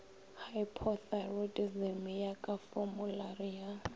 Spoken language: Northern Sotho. hypothyroidism ya ka formulari ya